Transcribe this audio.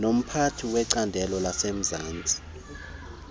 nomphathi wecandelo lasemzantsi